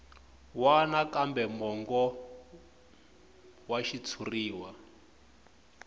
wana kambe mongo wa xitshuriwa